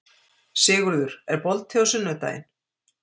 Sigurður, er bolti á sunnudaginn?